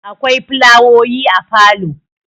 akwai fulawoyi a falo